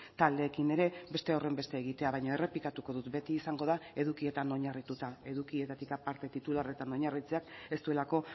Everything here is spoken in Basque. taldeekin ere beste horrenbeste egitea baina errepikatuko dut beti izango da edukietan oinarrituta edukietatik aparte titularretan oinarritzeak ez duelako